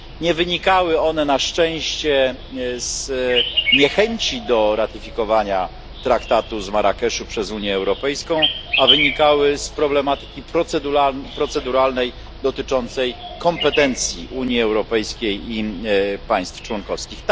Nie wynikały one na szczęście z niechęci do ratyfikowania Traktatu z Marrakeszu przez Unię Europejską, a wynikały z problematyki proceduralnej dotyczącej kompetencji Unii Europejskiej i państw członkowskich.